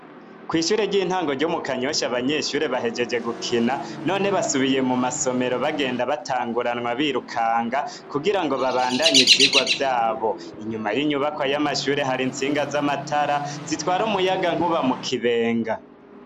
Kw'ishure ry'intango ryo mu Kanyosha bahejeje gukina none basubiye mu masomero bagenda batanguranwa birukanga kugirango babandanye ivyigwa vyabo inyuma y'inyubakwa y'amashure hari intsinga z'amatara zitwara umuyagankuba mu Kibenga.